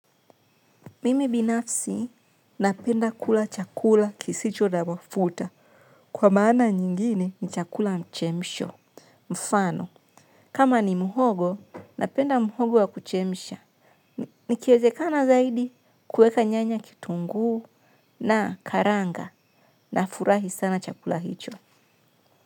Mimi binafsi napenda kula chakula kisicho na mafuta kwa maana nyingine ni chakula ya mchemsho. Mfano, kama ni muhogo, napenda muhogo wa kuchemsha. Nikiezekana zaidi kuweka nyanya, kitunguu na karanga nafurahi sana chakula hicho.